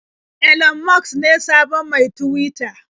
Elon Musk ne sabon mai Tuwita.